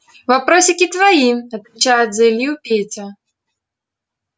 вопросики твои отвечает за илью петя